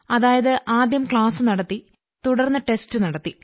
അതായത് ആദ്യം ക്ലാസ് നടത്തി തുടർന്ന് ടെസ്റ്റ് നടത്തി